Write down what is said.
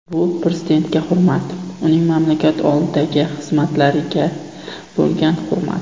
Bu prezidentga hurmat, uning mamlakat oldidagi xizmatlariga bo‘lgan hurmat.